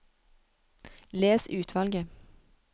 Les utvalget